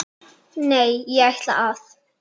Nei, ég ætla að.